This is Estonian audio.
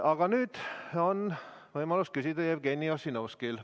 Aga nüüd on võimalus küsida Jevgeni Ossinovskil.